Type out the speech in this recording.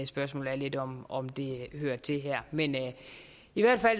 spørgsmålet er lidt om om det hører til her men jeg